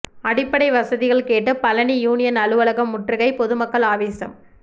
அடிப்படை வசதிகள் கேட்டு பழநி யூனியன் அலுவலகம் முற்றுகை பொதுமக்கள் ஆவேசம்